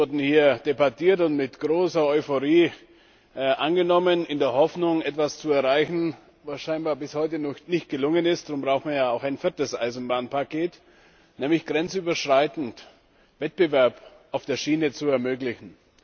Und die wurden alle hier debattiert und mit großer Euphorie angenommen in der Hoffnung, etwas zu erreichen, was scheinbar bis heute noch nicht gelungen ist darum brauchen wir ja auch ein viertes Eisenbahnpaket nämlich grenzüberschreitend Wettbewerb auf der Schiene zu ermöglichen.